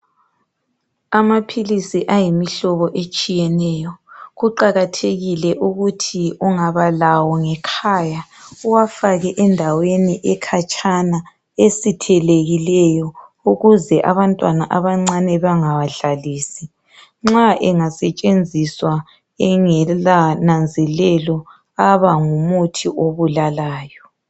Amaphilisi ayimihlobo etshiyeneyo kuqakathekile ukuthi ungaba lawo ngekhaya uwafake endaweni ekhatshana esithelekileyo ukuze abantwana abancane bangawadlalisi ,nxa engasetshenziswa engala nanzelelo aba ngumuthi obulalayo.